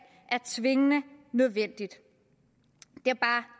er tvingende nødvendigt